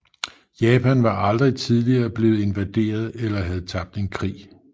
Japan var aldrig tidligere blevet invaderet eller havde tabt en krig